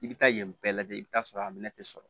I bɛ taa yen bɛɛ lajɛlen i bɛ t'a sɔrɔ a minɛ tɛ sɔrɔ